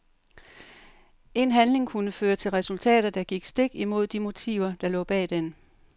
En handling kunne føre til resultater, der gik stik imod de motiver der lå bag den.